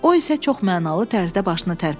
O isə çox mənalı tərzdə başını tərpətdi.